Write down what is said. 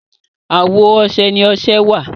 àwọ ọsẹ ní ọsẹ wá.